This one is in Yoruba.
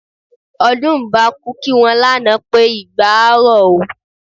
Ọdúnmbákú kí wọn lánàá pé "igba á rọ̀ ó"